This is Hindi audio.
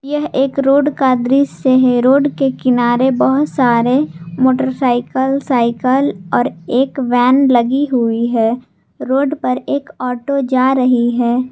यह एक रोड का दृश्य है रोड के किनारे बहोत सारे मोटरसाइकल साइकल और एक वैन लगी हुई है रोड पर एक ऑटो जा रही है।